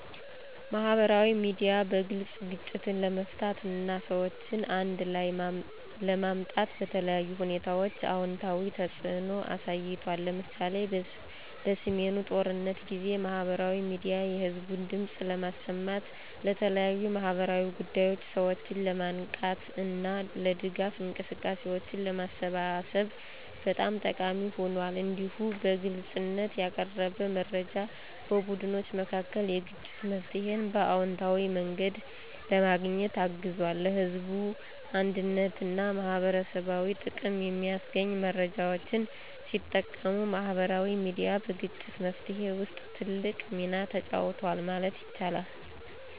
ማህበራዊ ሚዲያ በግልጽ ግጭትን ለመፍታት እና ሰዎችን አንድ ላይ ለማምጣት በተለያዩ ሁኔታዎች አዎንታዊ ተጽዕኖ አሳይቷል። ለምሳሌ፣ በሰሜኑ ጦርነት ጊዜ ማህበራዊ ሚዲያ የህዝብን ድምፅ ለማሰማት፣ ለተለያዩ ማህበራዊ ጉዳዮች ሰዎችን ለማንቃት እና ለድጋፍ እንቅስቃሴዎች ለማሰባሰብ በጣም ጠቃሚ ሆኗል። እንዲሁም በግልጽነት ያቀረበ መረጃ በቡድኖች መካከል የግጭት መፍትሄን በአዎንታዊ መንገድ ለማግኘት አግዟል። ለህዝብ አንድነትና ማህበረሰባዊ ጥቅም የሚያስገኙ መረጃዎችን ሲጠቀሙ ማህበራዊ ሚዲያ በግጭት መፍትሄ ውስጥ ትልቅ ሚና ተጫውቷል ማለት ይቻላል።